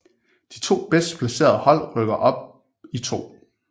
De to bedst placerede hold rykker op i 2